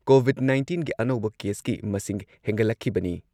COVID ꯅꯥꯏꯟꯇꯤꯟꯒꯤ ꯑꯅꯧꯕ ꯀꯦꯁꯀꯤ ꯃꯁꯤꯡ ꯍꯦꯟꯒꯠꯂꯛꯈꯤꯕꯅꯤ ꯫